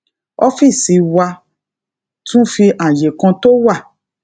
ófíìsì wa tún fi àyè kan tó wà